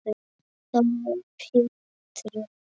Þá varð Pétri